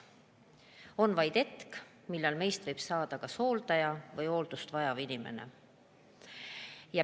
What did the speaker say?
Võib tulla hetk, millal meist võib saada kas hooldaja või hooldust vajav inimene.